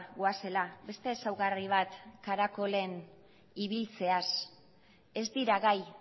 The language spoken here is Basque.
goazela beste ezaugarri bat karakolen ibiltzeaz ez dira gai